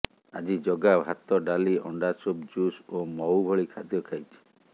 ଆଜି ଜଗା ଭାତ ଡାଲି ଅଣ୍ଡା ସୁପ୍ ଜୁସ୍ ଓ ମହୁ ଭଳି ଖାଦ୍ୟ ଖାଇଛି